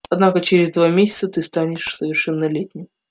однако через два месяца ты станешь совершеннолетним